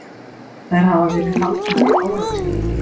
Þær hafa verið haldnar í áratugi.